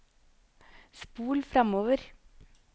spol framover